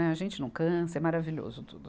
A gente não cansa, é maravilhoso tudo.